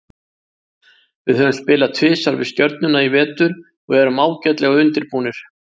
Við höfum spilað tvisvar við Stjörnuna í vetur og erum ágætlega undirbúnir.